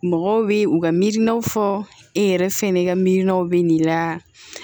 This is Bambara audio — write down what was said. Mɔgɔw bɛ u ka miirininaw fɔ e yɛrɛ fɛn ka miinaw bɛ n'i la